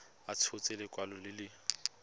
a tshotse lekwalo le le